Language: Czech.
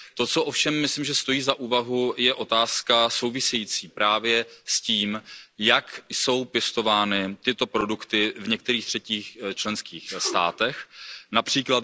To, co ovšem myslím, že stojí za úvahu, je otázka související právě s tím, jak jsou pěstovány tyto produkty v některých třetích státech, např.